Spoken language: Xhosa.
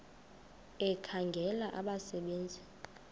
ekhangela abasebe nzi